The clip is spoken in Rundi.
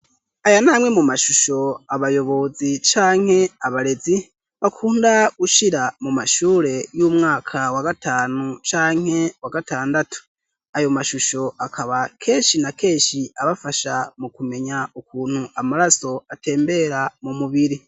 aya namwe mu mashusho abayobozi canke abarezi bakunda gushira mu mashure y'umwaka wa gatanu canke wa gatandatu ayo mashusho akaba kenshi na kenshi abafasha mu kumenya ukuntu amaraso atembera mu mubiri